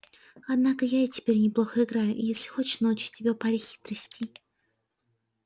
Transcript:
однако я и теперь неплохо играю и если хочешь научу тебя паре хитростей